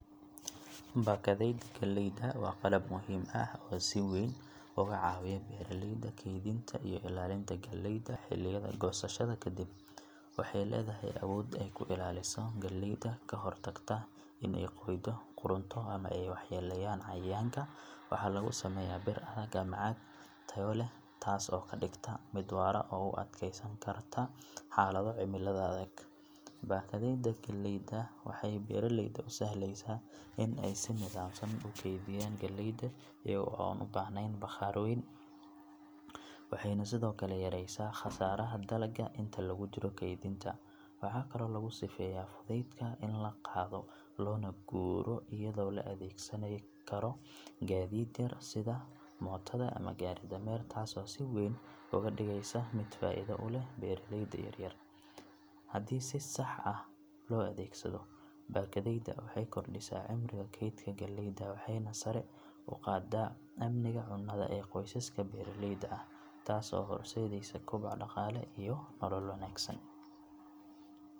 Sida geedaha loo jari jiray ayaa si weyn isu beddeshay degmadaan muddooyinkii u dambeeyay iyadoo dadku horey u jarayeen geedaha si aan nidaam lahayn balse hadda ay u jaraan si wacyi iyo qorshe ku saleysan. Dadka deegaanka waxay billaabeen inay fahmaan muhiimada geedaha ee deegaanka taasoo keentay in jarista geedaha lagu xiro shuruudo adag lagana hor mariyo oggolaansho dowladeed. Waxaa la arkayaa in dadkii horey si toos ah u jarayay geedaha ay hadda u wareegeen hab ay geedka u jarayaan si aan si buuxda u tirtirin jirkiisa, ama beddelkiisa geed kale u beeraan taasoo keentay in deegaanka uusan faaruqin dadkuna ay sii helaan neecawda nadiifka ah iyo quruxda dabiiciga ah. Waxaa kaloo is beddelay qalabkii loo adeegsan jiray jarista iyadoo laga tagay kuwa waxyeelada u geysan kara deegaanka lana adeegsado kuwa yareeya dhaawaca geedka. Dad badan oo deegaanka ku nool ayaa hadda ka qayb qaata ololayaal lagu beero geedo cusub taasoo ah tallaabo muhiim ah oo wax weyn ka beddeshay qaabka hore. Waxay tani muujinaysaa in wacyigelin, tababaro iyo iskaashi bulsho ay horseedi karaan horumar waara iyo ilaalinta deegaanka.